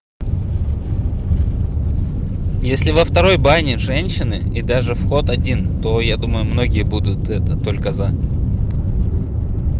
если во второй бане женщины и даже вход один то я думаю многие будут это только за